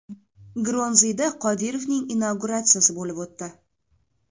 Grozniyda Qodirovning inauguratsiyasi bo‘lib o‘tdi.